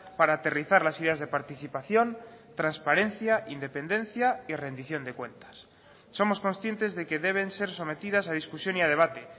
para aterrizar las ideas de participación transparencia independencia y rendición de cuentas somos conscientes de que deben ser sometidas a discusión y a debate